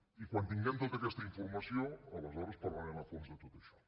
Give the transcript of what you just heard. i quan tinguem tota aquesta informació aleshores parlarem a fons de tot això